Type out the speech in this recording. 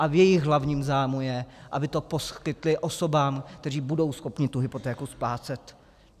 A v jejich hlavním zájmu je, aby to poskytly osobám, které budou schopny tu hypotéku splácet.